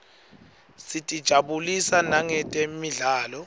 sitijabulisa nangetemidlalo